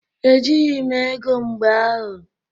Ejịghị m ego mgbe ahụ.